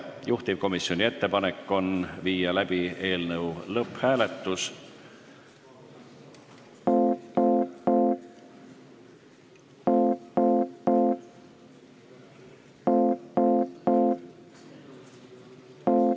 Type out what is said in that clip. Juhtivkomisjoni ettepanek on viia läbi eelnõu lõpphääletus.